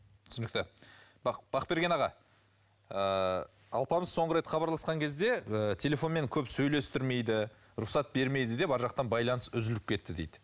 түсінікті бақберген аға ыыы алпамыс соңғы рет хабарласқан кезде ы телефонмен көп сөйлестірмейді рұқсат бермейді деп арғы жақтан байланыс үзіліп кетті дейді